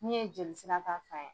N' ye jeli sira ka fɛ.